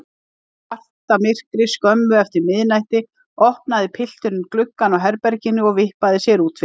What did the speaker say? Í svartamyrkri skömmu eftir miðnætti opnaði pilturinn gluggann á herberginu og vippaði sér út fyrir.